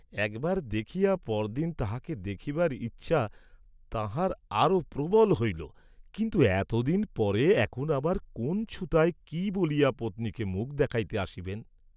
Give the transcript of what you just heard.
একবার দেখিয়া পরদিন তাঁহাকে দেখিবার ইচ্ছা তাঁহার আরও প্রবল হইল কিন্তু এতদিন পরে এখন আবার কোন্ ছুতায় কি বলিয়া পত্নীকে মুখ দেখাইতে আসিবেন?